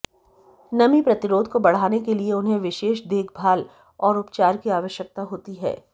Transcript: नमी प्रतिरोध को बढ़ाने के लिए उन्हें विशेष देखभाल और उपचार की आवश्यकता होती है